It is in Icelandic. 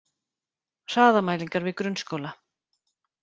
Hraðamælingar við grunnskóla